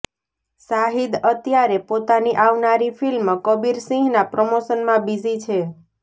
શાહિદ અત્યારે પોતાની આવનારી ફિલ્મ કબીર સિંહના પ્રમોશનમાં બિઝી છે